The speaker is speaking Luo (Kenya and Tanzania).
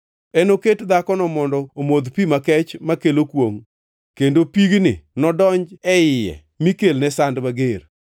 Enoket dhakono mondo omodh pi makech makelo kwongʼ, kendo pigni nodonj e iye mi kelne sand mager.